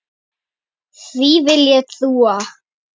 Því vill ég trúa.